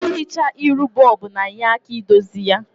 I hichaa iru bob na-nye aka idozi ya.